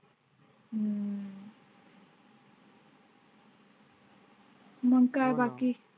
मग बाकी.